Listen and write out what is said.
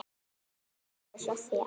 Margrét og Soffía.